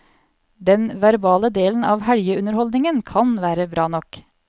Den verbale delen av helgeunderholdningen kan være bra nok.